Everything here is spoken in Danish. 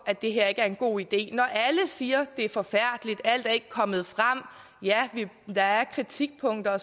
at det her ikke er en god idé når alle siger det er forfærdeligt at alt ikke er kommet frem ja der er kritikpunkter